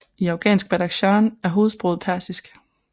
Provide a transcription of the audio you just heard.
I afghansk Badakhshan er hovedsproget persisk